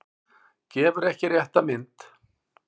Gefur ekki rétta mynd